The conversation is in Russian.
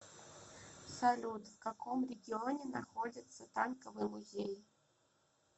салют в каком регионе находится танковый музей